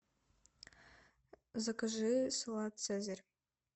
закажи салат цезарь